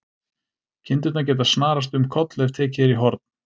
Kindurnar geta snarast um koll ef tekið er í horn.